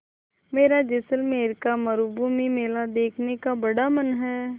मेरा जैसलमेर का मरूभूमि मेला देखने का बड़ा मन है